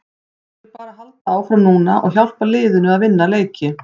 Ég vil bara halda áfram núna og hjálpa liðinu að vinna leiki.